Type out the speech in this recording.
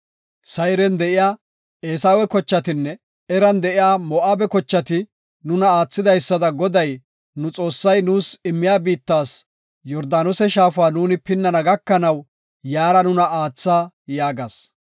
Sayren de7iya Eesawe kochatinne, Eran de7iya Moo7abe kochati nuna aathidaysada Goday nu Xoossay, nuus immiya biittas Yordaanose shaafa nuuni pinnana gakanaw yaara nuna aatha” yaagas.